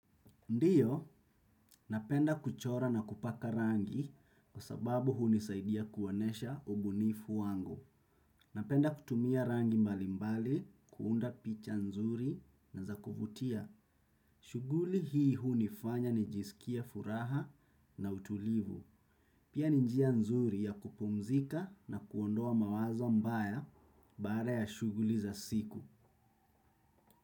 Ndiyo, napenda kuchora na kupaka rangi kwa sababu hunisaidia kuonyesha ubunifu wangu. Napenda kutumia rangi mbalimbali, kuunda picha nzuri na za kuvutia. Shughuli hii hunifanya nijisikie furaha na utulivu. Pia ni njia nzuri ya kupumzika na kuondoa mawazo mbaya baada ya shughuli za siku.